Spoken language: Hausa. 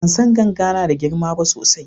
bansan ganga nada girma ba sosai